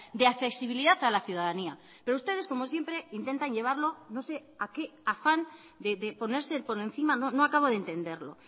de accesibilidad a la ciudadanía pero ustedes como siempre intentan llevarlo no sé a qué afán de ponerse por encima no acabo de entenderlo